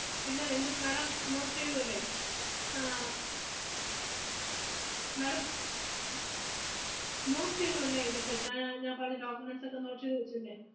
പിന്നെ രണ്ടു പ്~ madam, note ചെയ്തു അല്ലേ ആഹ് madam note ചെയ്തു അല്ലേ ഇതൊക്കെ ഞാ~ ഞാ~ ഞാൻ പറഞ്ഞ documents ഒക്കെ note ചെയ്തു വെച്ചു അല്ലേ?